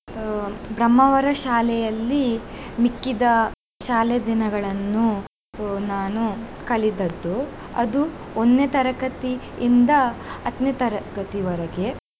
ಆ ಬ್ರಹ್ಮಾವರ ಶಾಲೆಯಲ್ಲಿ ಮಿಕ್ಕಿದ ಶಾಲೆ ದಿನಗಳನ್ನು ನಾನು ಕಳೆದದ್ದು ಅದು ಒಂದ್ನೇ ತರಗತಿ ಇಂದ ಹತ್ನೇ ತರಗತಿವರೆಗೆ.